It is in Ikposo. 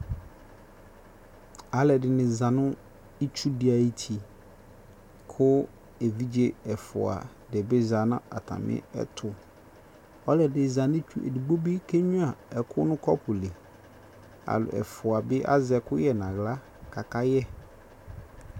alʋɛdini zanʋ itsʋ di ayiti kʋ ɛvidzɛ ɛƒʋa dibi zanʋ atami ɛtʋ ɔlɔdi ɛdigbɔ bi kɛ nyʋa ɛkʋ nʋ cʋpʋ li, ɛƒʋa bi azɛ ɛkʋyɛ nʋ ala ka aka yɛ.